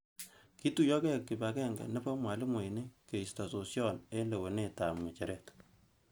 Ketoyokei kipakenge nebo mwalimoini koisto sosyon eng lewenet ab ngecheret.